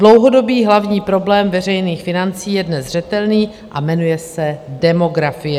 Dlouhodobý hlavní problém veřejných financí je dnes zřetelný a jmenuje se demografie.